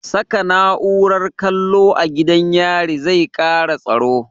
Saka na'urar kallo a gidan yari zai kara tsaro